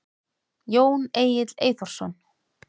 Jón Egill Eyþórsson.